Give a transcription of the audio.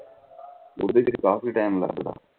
ਓਹਦੇ ਚ ਵੀ ਕਾਫੀ ਟੀਮ ਲੱਗਦਾ